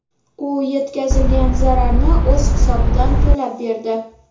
U yetkazilgan zararni o‘z hisobidan to‘lab berdi.